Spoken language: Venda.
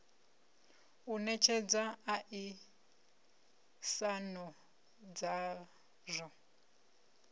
u netshedza a isano dzazwo